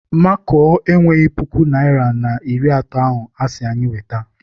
Makuo enweghị puku naịra na iri atọ ahụ asị anyị weta.